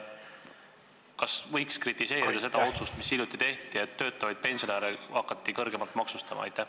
Näiteks, kas võiks kritiseerida seda otsust, mis hiljuti tehti, et töötavaid pensionäre hakati kõrgemalt maksustama?